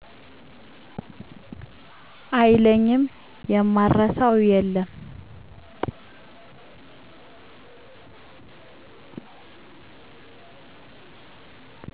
አይለኝም የማረሳው የለም